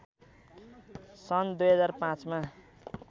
सन् २००५ मा